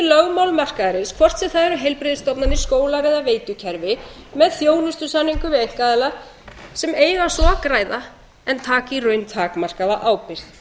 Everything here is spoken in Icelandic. lögmál markaðarins hvort sem það eru heilbrigðisstofnanir skólar eða veitukerfi með þjónustusamningum við einkaaðila sem eiga svo að græða en taka í raun takmarkaða ábyrgð